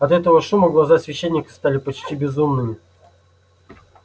от этого шума глаза священника стали почти безумными